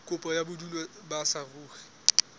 kopo ya bodulo ba saruri